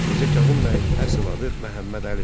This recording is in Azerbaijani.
Mirzə Kazım bəyin əsl adı Məhəmməd Əlidir.